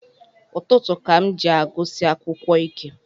Ụtụtụ ka m ji agụsi akwukwọ ike